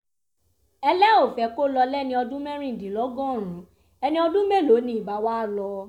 ẹ lẹ́ ò fẹ́ kó lọ lẹ́ni ọdún mẹ́rìndínlọ́gọ́rùn-ún ẹni ọdún mélòó ni ibà wàá lọ